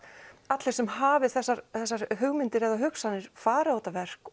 allir sem hafi þessar þessar hugmyndir eða hugsanir fari á þetta verk